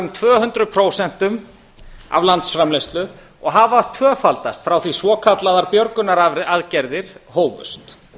um tvö hundruð prósent af landsframleiðslu og hafa tvöfaldast frá því svokallaðar björgunaraðgerðir hófust